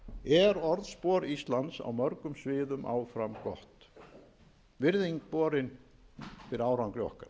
er orðspor íslands á mörgum sviðum áfram gott virðing borin fyrir árangri okkar